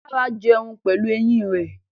Lara jẹun pẹ̀lú eyín rẹ̀.